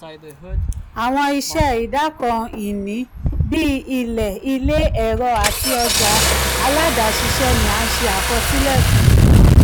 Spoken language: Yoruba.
awọn iṣẹ idoko-ini bii ilẹ ile ẹrọ ati ọja aládàáṣiṣẹ ni a nse akosile fun.